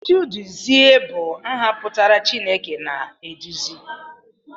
Chiduzie bụ aha pụtara 'Chineke na-eduzi'